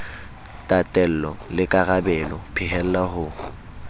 tatello le karabelo phehella ho